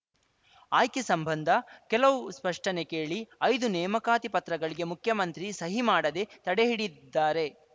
ಆಯ್ಕೆ ಸಂಬಂಧ ಕೆಲವು ಸ್ಪಷ್ಟನೆ ಕೇಳಿ ಐದು ನೇಮಕಾತಿ ಪತ್ರಗಳಿಗೆ ಮುಖ್ಯಮಂತ್ರಿ ಸಹಿ ಮಾಡದೆ ತಡೆ ಹಿಡಿದಿದ್ದಾರೆ